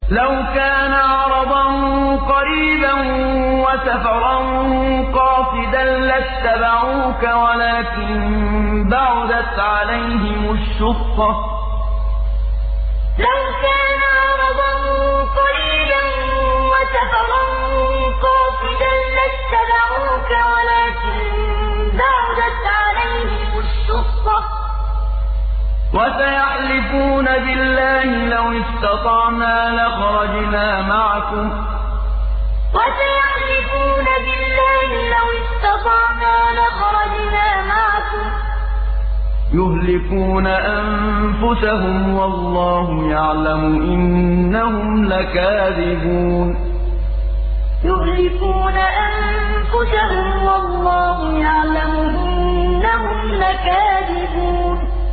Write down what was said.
لَوْ كَانَ عَرَضًا قَرِيبًا وَسَفَرًا قَاصِدًا لَّاتَّبَعُوكَ وَلَٰكِن بَعُدَتْ عَلَيْهِمُ الشُّقَّةُ ۚ وَسَيَحْلِفُونَ بِاللَّهِ لَوِ اسْتَطَعْنَا لَخَرَجْنَا مَعَكُمْ يُهْلِكُونَ أَنفُسَهُمْ وَاللَّهُ يَعْلَمُ إِنَّهُمْ لَكَاذِبُونَ لَوْ كَانَ عَرَضًا قَرِيبًا وَسَفَرًا قَاصِدًا لَّاتَّبَعُوكَ وَلَٰكِن بَعُدَتْ عَلَيْهِمُ الشُّقَّةُ ۚ وَسَيَحْلِفُونَ بِاللَّهِ لَوِ اسْتَطَعْنَا لَخَرَجْنَا مَعَكُمْ يُهْلِكُونَ أَنفُسَهُمْ وَاللَّهُ يَعْلَمُ إِنَّهُمْ لَكَاذِبُونَ